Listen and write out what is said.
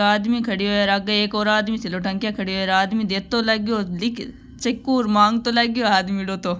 आदमी खड्यो है र आगे एक और आदमी थेलो टांग्या खड्यो है र आदमी देतो लागयो लिख चिकु र मागतो लाग्यो आदमिडो तो --